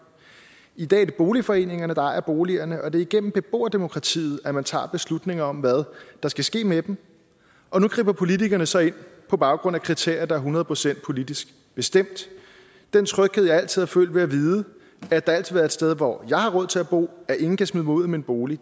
i dag er det boligforeningerne der ejer boligerne og det er igennem beboerdemokratiet at man tager beslutninger om hvad der skal ske med dem og nu griber politikerne så ind på baggrund af kriterier der er hundrede procent politisk bestemt den tryghed jeg altid har følt ved at vide at der altid vil være et sted hvor jeg har råd til at bo at ingen kan smide mig ud af min bolig